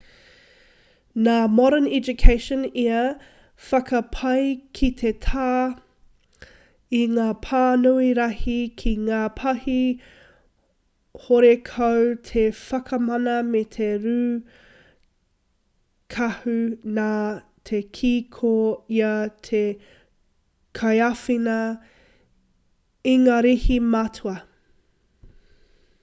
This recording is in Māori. nā modern education ia i whakapae ki te tā i ngā pānui rahi ki ngā pahi horekau te whakamana me te rūkahu nā te kī ko ia te kaiāwhina ingarihi matua